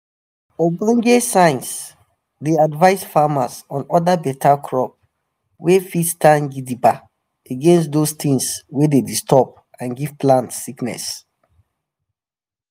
ogbonge science dey advice farmers on other beta crop wey fit stand gidigba against those tings wey dey disturb and give plant sickness